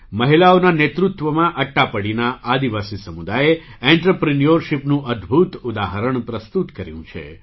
મહિલાઓના નેતૃત્વમાં અટ્ટાપડીના આદિવાસી સમુદાયે ઍન્ટરપ્રિન્યૉરશિપનું અદ્ભુત ઉદાહરણ પ્રસ્તુત કર્યું છે